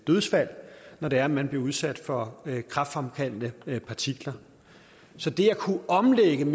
dødsfald når det er at man bliver udsat for kræftfremkaldende partikler så det at kunne omlægge en